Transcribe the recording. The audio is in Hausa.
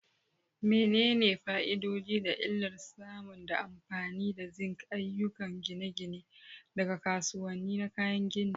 Menene fa'idodi da illar samun da amfani da zinc a ayyukan gine-gine daga kasuwanni na kayan gini?